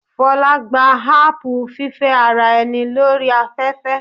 Fola gba apu fífẹ́ ara ẹni lórí afẹ́fẹ́.